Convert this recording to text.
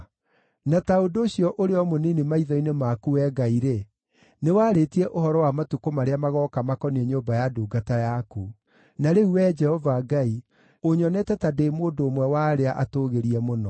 Na ta ũndũ ũcio ũrĩ o mũnini maitho-inĩ maku, Wee Ngai-rĩ, nĩwarĩtie ũhoro wa matukũ marĩa magooka makoniĩ nyũmba ya ndungata yaku. Na rĩu Wee Jehova Ngai, ũnyonete ta ndĩ mũndũ ũmwe wa arĩa atũũgĩrie mũno.